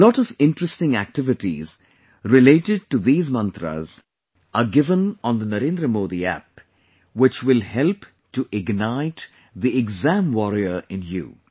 A lot of interesting activities related to these mantras are given on the Narendra Modi App which will help to ignite the exam warrior in you